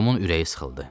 Tomun ürəyi sıxıldı.